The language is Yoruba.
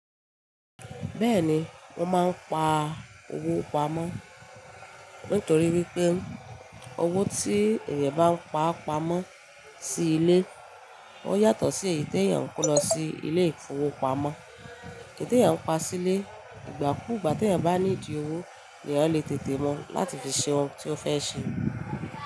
Bẹ́ẹ̀ni, mò máa ń pa owó pamọ́ nítorí wípé owó tí èèyàn bá ń pa pamọ́ sí ilé ó yàtọ̀ sí èyí tí èèyàn kò lọ sí ilé ìfowópamọ́. Tí èèyàn ń pa sílé ìgbà kú ìgbà tí èèyàn bá ní di owó ni èèyàn lè tètè mú láti fi ṣe ohun tí ó fẹ́ ṣe.